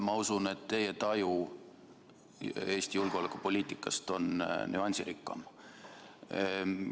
Ma usun, et teie taju Eesti julgeolekupoliitikast on nüansirikkam.